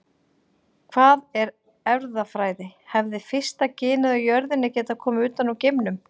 Hvað er erfðafræði Hefði fyrsta genið á jörðinni getað komið utan úr geimnum?